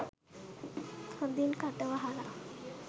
හොඳින් කට වහල